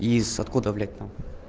из откуда блять там